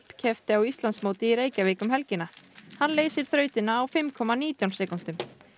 keppti á Íslandsmóti í Reykjavík um helgina hann leysir þrautina á fimm komma nítján sekúndum